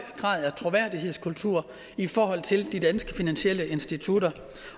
grad af troværdighed i forhold til de danske finansielle institutter